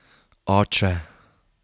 Oče!